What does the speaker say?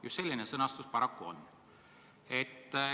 Just selline sõnastus paraku on.